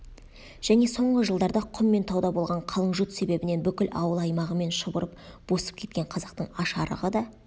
және соңғы жылдарда құм мен тауда болған қалың жұт себебінен бүкіл ауыл-аймағымен шұбырып босып кеткен қазақтың аш-арығы да